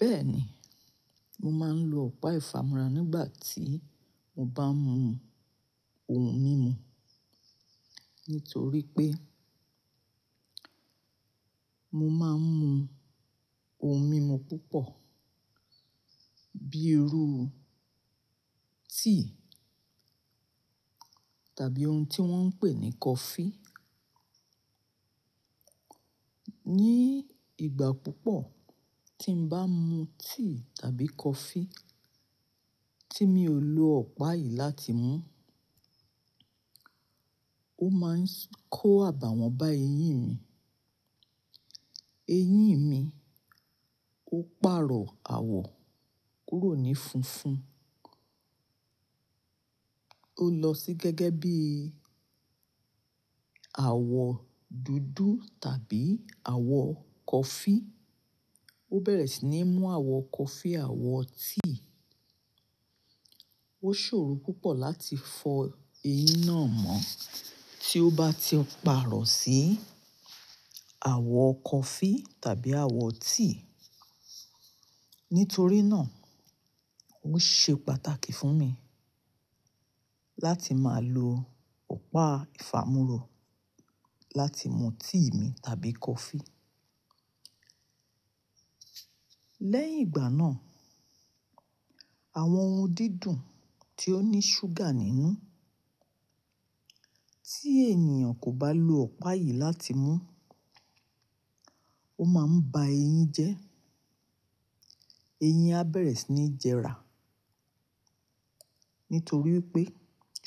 Bẹ́ẹ̀ ni, mo máa ń lo ọ̀pá ìfàmúra nígbà tí mo bá ń mu ohun mímu. Nítorí pé mo máa ń mu ohun mímu púpọ̀ bíi irú tíì tàbí ohun tí wọ́n ń pè ní coffee. Ni ìgbà púpọ̀ tí n bá mu tíì tàbí coffee tí mi ò lo ọ̀pá yìí láti mú, ó máa ń kó àbàwọ́n bá eyín mi. Eyín mi ó pàrọ̀ àwọ̀ kúrò ní funfun. Ó lọ sí gẹ́gẹ́ bí àwọ̀ dúdú tàbí àwọ̀ coffee. Ó bẹ̀rẹ̀ sí ní mú àwọ̀ coffee, àwọ̀ tíì. Ó ṣòro púpọ̀ láti fọ eyín náà mọ́ tí ó bá ti pàrọ̀ sí àwọ̀ coffee tàbí àwọ̀ tíì. Nítorí náà ó ṣe pàtàkì fún mi láti máa lo ọ̀pá ìfàmúra láti mú tíì mi tàbí coffee. Lẹ́yìn ìgbà náà, àwọn ohun dídùn tí ó ní ṣúgà nínú tí ènìyàn kò bá lo ọ̀pá yìí láti mú, ó máa ń ba eyín jẹ́. Eyín á bẹ̀rẹ̀ sí ní jẹrà. Nítorí pé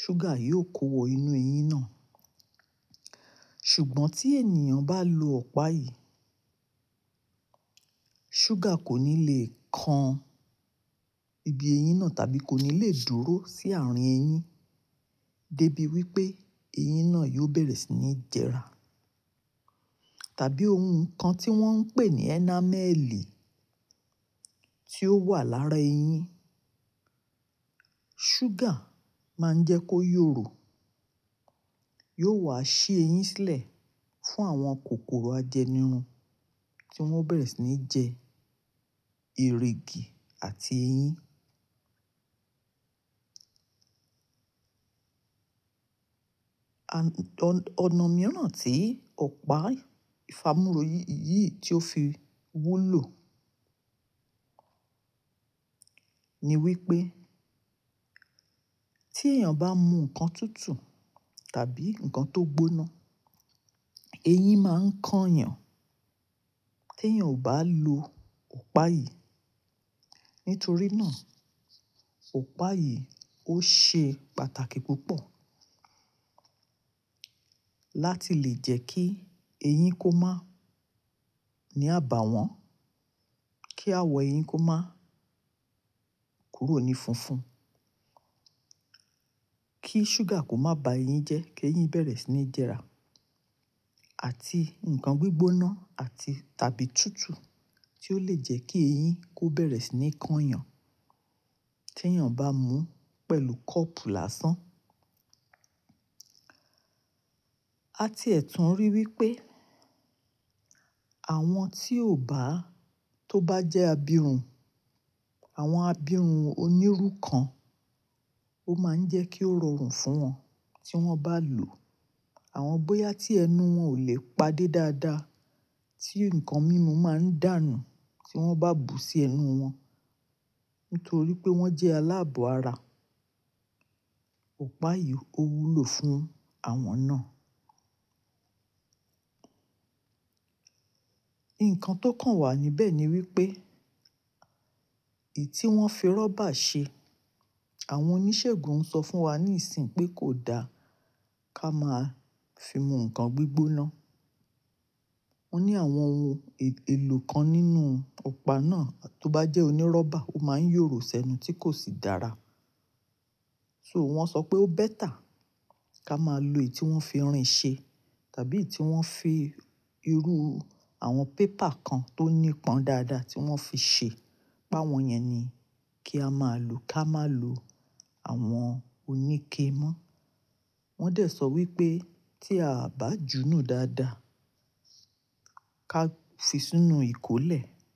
ṣúgà yóò kó wọ inú eyín náà. Ṣùgbọ́n tí ènìyàn bá lo ọ̀pá yìí, ṣúgà kò ní le kan ibi eyín náà tàbí kò ní le dúró sí àárín eyín dé bí wípé eyín náà yóò bẹ̀rẹ̀ sí ní jẹrà. Tàbí ohun kan tí wọ́n ń pè ní enamel tí ó wà lára eyín, ṣúgà máa ń jẹ́ kó yọ̀ro, yóò wá ṣi eyín sílẹ̀ fún àwọn kòkòrò ajẹnirun tí wọ́n bẹ̀rẹ̀ sí ní jẹ ìrìgì àti eyín. Ọ̀nà mìíràn tí ọ̀pá ìfàmúra yìí tí ó fi wúlò ni wípé tí èeyàn bá mu nǹkan tútù tàbí nǹkan tó gbóná, eyín máa ń kan yàn tèeyàn ò bá lo ọ̀pá yìí. Nítorí náà ọ̀pá yìí ó ṣe pàtàkì púpọ̀ láti lè jẹ́ kí eyín kó má ní àbàwọ́n, kí àwọ̀ eyín kó má kúrò ní funfun, kí ṣúgà kó má ba eyín jẹ́ kí eyín bẹ̀rẹ̀ sí ní jẹrà àti nǹkan gbígbóná àti tàbí tútù tí ó lè jẹ́ kí eyín kó bẹ̀rẹ̀ sí ní kan yàn t'eeyàn bá mú pẹ̀lú kọ́pù lásán. A ti ẹ̀ tún rí i wípé àwọn tí ò bá, tó bá jẹ́ abirun, àwọn abirun oníru kan ó máa ń jẹ́ kí ó rọrùn fún wọn tí wọ́n bá lò àwọn bóyá tí ẹnu wọn ò lè padé dáadáa tí nǹkan mímu máa ń dànù tí wọ́n bá bù sí ẹnu wọn. Nítorí pé wọ́n jẹ́ aláàbọ̀ ara. Ọ̀pá yìí ó wúlò fún àwọn náà. Ǹkan tó kàn wà níbẹ̀ ni wípé èyí tí wọ́n fi rọ́bà ṣe, àwọn oníṣègùn sọ fún wa ní ìsìn pé kò da ká máa fi mú nǹkan gbígbóná. Wọ́n ní àwọn ohun èlò kan nínú ọ̀pá náà tó bá jẹ́ onírọ́bà, ó máa ń yọ̀ro sẹ́nu tí kò sì dára. So wọ́n sọ pé ó better ká máa lo èyí tí wọ́n fi irin ṣe tàbí èyí tí wọ́n fi irú àwọn paper kan tó nípọn dáadáa tí wọ́n fi ṣe. Pá wọn yẹn ni kí a máa lò, ká má lo àwọn oníke mọ́. Wọ́n dẹ̀ sọ wípé tí a bá jùnù dáadáa ká fi sínú ìkólẹ̀